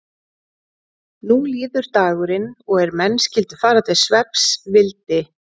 Nú líður dagurinn og er menn skyldu fara til svefns vildi